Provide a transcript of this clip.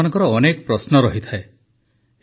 ପ୍ରାୟତଃ ମନ୍ କି ବାତରେ ଆପଣମାନଙ୍କର ଅନେକ ପ୍ରଶ୍ନ ରହିଥାଏ